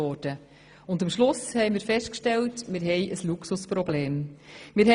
Am Ende mussten wir feststellen, dass wir ein Luxusproblem haben: